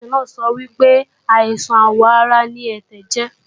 Nọ́ọ̀sì náà sọ wípé, àìsàn àwọ̀ ara ni ẹ̀tẹ̀ jẹ́